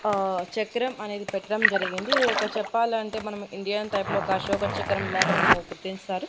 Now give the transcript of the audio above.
ఆ చక్రం అనేది పెట్టడం జరిగింది ఇదొక చెప్పాలంటే మనం ఇండియాన్ టైప్ లోక అశోక చక్రం లాగా మనం గుర్తింస్తారు.